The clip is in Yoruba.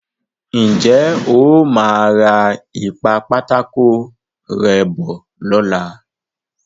Ǹ jẹ́ o máa ra ìpa-pátákó-rẹ́ bọ̀ lọ́la.